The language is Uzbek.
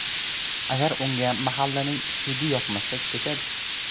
Agar unga mahallaning ‘hidi’ yoqmasa, ketadi.